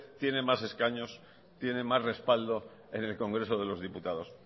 tiene más escaños tiene más respaldo en el congreso de los diputados